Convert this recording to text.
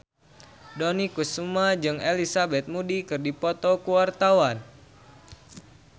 Dony Kesuma jeung Elizabeth Moody keur dipoto ku wartawan